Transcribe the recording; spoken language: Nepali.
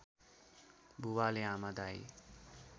बुबाले आमा दाइ